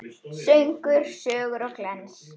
Söngur, sögur og glens.